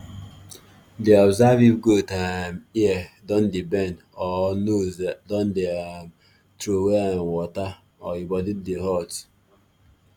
dey observe if goat um ear don dey bend or nose dey um trowey um water or e body dey hot